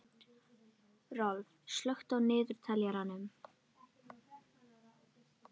Rolf, slökktu á niðurteljaranum.